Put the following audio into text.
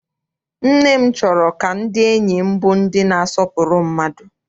Nne m chọrọ ka ndị enyi m bụrụ ndị na-asọpụrụ mmadụ.